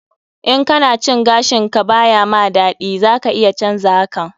In kana cin gashin ka ba ya ma daɗi, za ka iya canza hakan.